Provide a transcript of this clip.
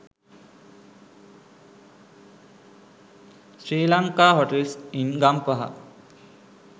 sri lanka hotels in gampaha